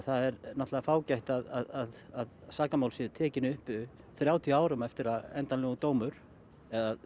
náttúrulega fágætt að sakamál séu tekin upp upp þrjátíu árum eftir að endanlegur dómur eða